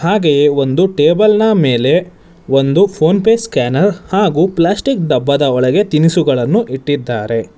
ಹಾಗೆ ಒಂದು ಟೇಬಲ್ ನ ಮೇಲೆ ಒಂದು ಫೋನ್ ಪೇ ಸ್ಕ್ಯಾನರ್ ಹಾಗು ಪ್ಲಾಸ್ಟಿಕ್ ಡಬ್ಬದ ಒಳಗೆ ತಿನಿಸುಗಳನ್ನು ಇಟ್ಟಿದ್ದಾರೆ.